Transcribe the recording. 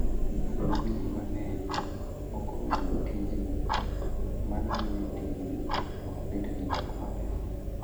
Bedo ni ji mang'eny ok ong'eyo tijni, mano miyo tijni ok bed gi nyak maber.